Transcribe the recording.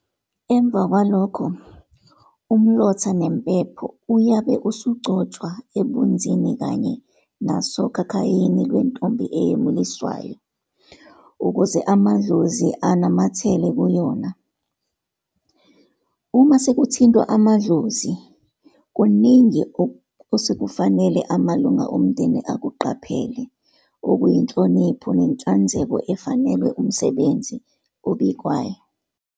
Emva kwalokho umlotha nempepho uyabe usugcotshwa ebunzini kanye nasokhakhayini Iwentombi eyemuliswayo ukuze amadlozi anamathele kuyona. Uma sekuthintwa amadlozi, kuningi osekufanele amalunga omndeni akuqaphele okuyinhlonipho nenhlanzeko efanelwe umsebenzi obikwayo.